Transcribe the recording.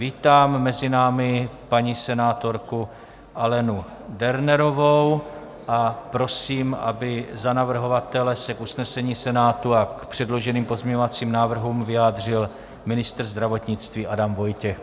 Vítám mezi námi paní senátorku Alenu Dernerovou a prosím, aby za navrhovatele se k usnesení Senátu a k předloženým pozměňovacím návrhům vyjádřil ministr zdravotnictví Adam Vojtěch.